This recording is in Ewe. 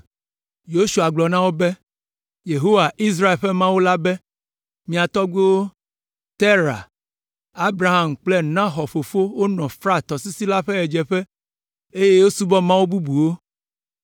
Yosua gblɔ na wo be, “Yehowa, Israel ƒe Mawu la be, ‘Mia tɔgbuiwo, Tera, Abraham kple Nahor fofo wonɔ Frat tɔsisi la ƒe ɣedzeƒe, eye wosubɔ mawu bubuwo.